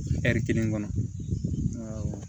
kelen kɔnɔ